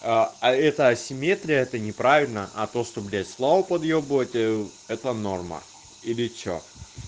а эта асимметрия это неправильно а то что блять славу подъёбывать это норма или что